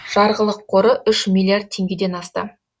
жарғылық қоры үш миллиард теңгеден астам